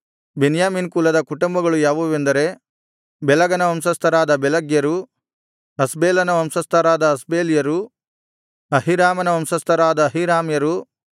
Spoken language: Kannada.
ಬೆನ್ಯಾಮೀನ್ ಕುಲದ ಕುಟುಂಬಗಳು ಯಾವುವೆಂದರೆ ಬೆಲಗನ ವಂಶಸ್ಥರಾದ ಬೆಲಗ್ಯರು ಅಷ್ಬೇಲನ ವಂಶಸ್ಥರಾದ ಅಷ್ಬೇಲ್ಯರು ಅಹೀರಾಮನ ವಂಶಸ್ಥರಾದ ಅಹೀರಾಮ್ಯರು